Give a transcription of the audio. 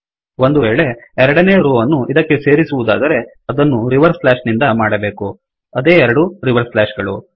ಒಂದುವೇಳೆ ಎರಡನೇ ರೋ ಅನ್ನು ಇದಕ್ಕೆ ಸೇರಿಸುವದಾದರೆ ಅದನ್ನು ರಿವರ್ಸ್ ಸ್ಲಾಶ್ ನಿಂದ ಮಾಡಬೇಕು ಅದೇ ಎರಡು ರಿವರ್ಸ್ ಸ್ಲಾಶ್ ಗಳು